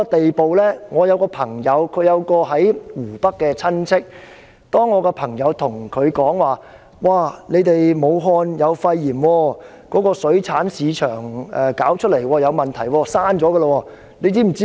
我有一位朋友，他有一位親戚在湖北，我的朋友告訴他武漢當地有肺炎病例，由水產市場傳出，出現了問題，並且已經關閉。